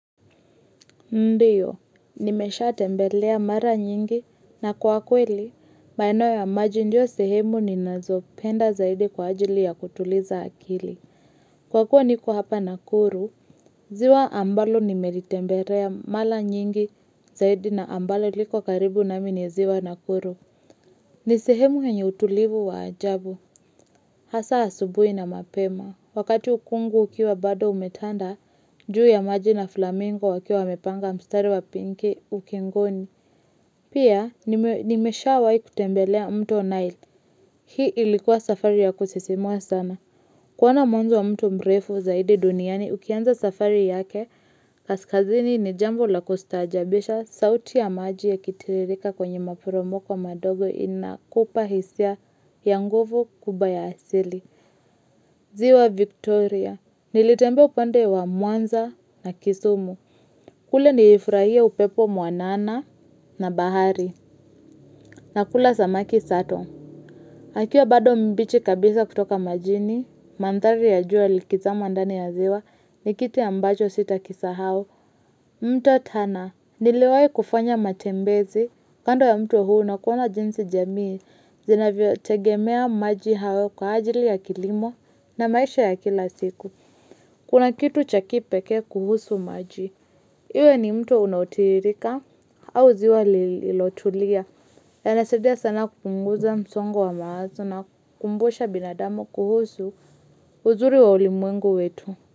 Ndiyo, nimesha tembelea mara nyingi na kwa kweli, maeno ya maji ndio sehemu ni nazopenda zaidi kwa ajili ya kutuliza akili. Kwa kuwa niko hapa nakuru, ziwa ambalo nimelitembelea mara nyingi zaidi na ambalo liko karibu na mimi ziwa nakuru. Ni sehemu yenye utulivu wa ajabu. Hasa asubui na mapema. Wakati ukungu ukiwa bado umetanda, juu ya maji na flamingo wakiwa wamepanga mstari wa pinki ukingoni. Pia nimesha wai kutembelea mto nile. Hii ilikuwa safari ya kusisimua sana. Kuona mwanzo wa mto mrefu zaidi duniani ukianza safari yake, kaskazini ni jambo la kustajabisha sauti ya maji ya kitiririka kwenye maporomoko madogo inakupa hisia ya nguvu kubwa yaasili. Ziwa Victoria, nilitemba upande wa muanza na kisumu. Kule nilifurahia upepo muanana na bahari na kula samaki sato. Akiwa bado mbichi kabisa kutoka majini, mantari ya jua likiza ndani ya ziwa, ni kitu ambacho sitakisahau mto tana, niliwai kufanya matembezi, kando ya mto huu na kuona jinsi jamii, zinavyo tegemea maji hao kwa ajili ya kilimo na maisha ya kila siku. Kuna kitu cha kipekee kuhusu maji. Iwe ni mto unautirika au ziwa lilotulia. Yanasaidia sana kupunguza msongo wa mawazo na kumbusha binadamu kuhusu uzuri wa ulimwengu wetu.